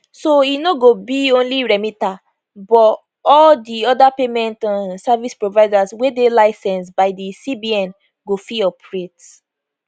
so e no go be only remita but all di oda payment um service providers wey dey licensed by di cbn go fit operate